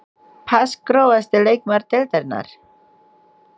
Pass Grófasti leikmaður deildarinnar?